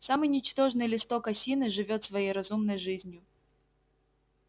самый ничтожный листок осины живёт своей разумной жизнью